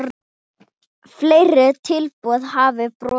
Fleiri tilboð hafa borist.